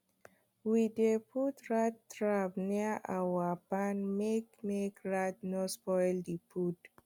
we dey put rat trap near our barn make make rat no spoil the food